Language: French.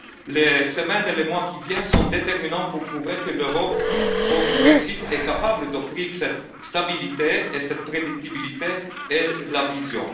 terrain. Les semaines et les mois qui viennent sont déterminants pour prouver que l'Europe post Brexit est capable d'offrir cette stabilité et cette prédictibilité et une